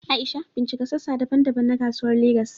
Aisha, bincika sassa daban-daban na Kasuwar Legas.